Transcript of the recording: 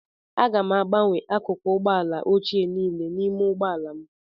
Aga m agbanwe akụkụ ụgbọ ala ochie niile n'ime ụgbọ ala m